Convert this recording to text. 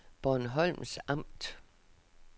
Bornholms Amt